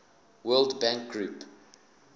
world bank group